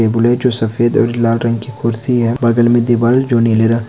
ये बोले जो सफ़ेद और लाल रंग की कुर्सी है बगल में दीवाल जो नीले र --